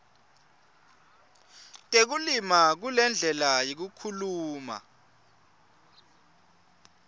tekulima kulendlela yekukhula